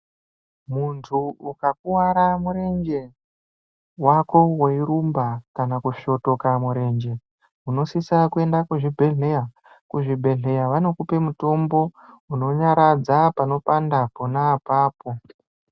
Muntu ukakuwara murenje wako weirumba kana kusvotoka murenje unosisira kuende kuzvibhedhleya, kuzvibhedhleya vanokupe mutombo unonyaradza panopanda pona apapo.